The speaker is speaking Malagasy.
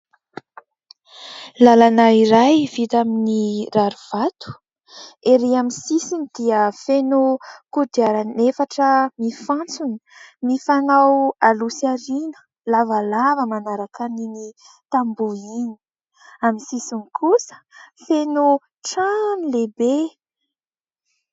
Lalana iray vita amin'ny rarivato. Ery amin'ny sisiny dia feno kodiarana efatra mifantsona mifanao aloha sy ariana, lavalava manaraka an'iny tamboha iny. Amin'ny sisiny kosa feno trano lehibe.